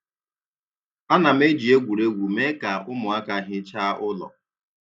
A na m eji egwuregwu mee ka ụmụaka hichaa ụlọ